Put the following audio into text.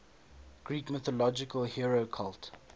greek mythological hero cult